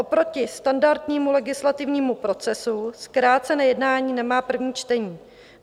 Oproti standardnímu legislativnímu procesu zkrácené jednání nemá první čtení.